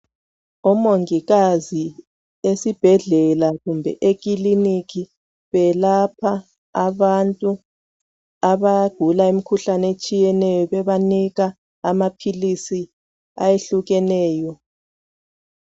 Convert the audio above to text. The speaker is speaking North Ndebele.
Omongikazi esibhedlela kumbe ekiliniki belapha abantu abagula imikhuhlane etshiyeneyo bebanika amaphilisi ayehlukeneyo.